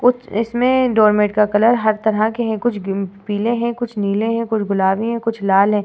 कुछ इसमें डोरमैंट का कलर हर तरह के हैं। कुछ गीम् पीले हैं कुछ नीले हैं कुछ गुलाबी हैं कुछ लाल हैं।